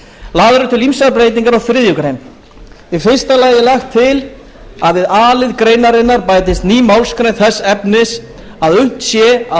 lagðar eru til ýmsar breytingar á þriðju grein í fyrsta lagi er lagt til að við a lið greinarinnar bætist ný málsgrein þess efnis að unnt sé að